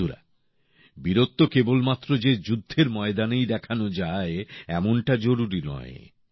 বন্ধুরা বীরত্ব কেবলমাত্র যে যুদ্ধের ময়দানেই দেখানো যায় এমনটা জরুরি নয়